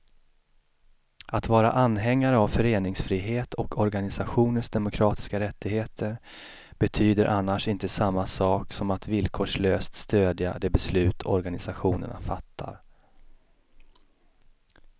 Att vara anhängare av föreningsfrihet och organisationers demokratiska rättigheter betyder annars inte samma sak som att villkorslöst stödja de beslut organisationerna fattar.